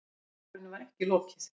En málinu var ekki lokið.